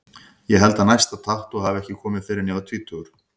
Ég held að næsta tattú hafi ekki komið fyrr en ég var tvítugur.